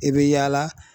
I bɛ yaala